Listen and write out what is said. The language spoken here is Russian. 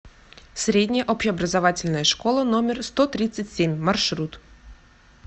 средняя общеобразовательная школа номер сто тридцать семь маршрут